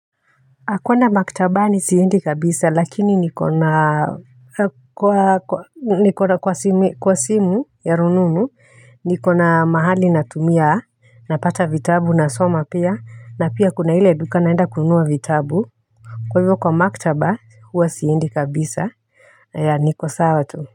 Kwenda maktabani siendi kabisa lakini niko na kwa niko na kwa simu ya rununu niko na mahali natumia napata vitabu nasoma pia na pia kuna ile duka naenda kununua vitabu kwa hivyo kwa maktaba huwa siendi kabisa ya niko sawa tu.